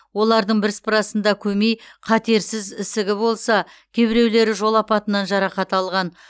олардың бірсыпырасында көмей қатерсіз ісігі болса кейбіреулері жол апатынан жарақат алған